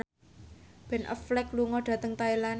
Ben Affleck lunga dhateng Thailand